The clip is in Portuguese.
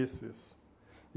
Isso, isso.